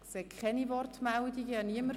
– Ich sehe keine Wortmeldungen.